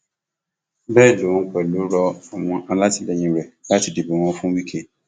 bẹẹ lòun pẹlú rọ àwọn alátìlẹyìn rẹ láti dìbò wọn fún wike